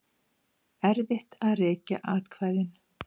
Erfitt að rekja atkvæðin